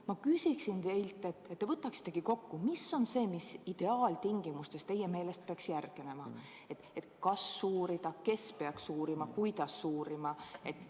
Ma paluksin teilt, et te võtaksitegi kokku, mis on see, mis ideaaltingimustes teie meelest peaks järgnema: kas uurida, kes peaks uurima, kuidas uurima?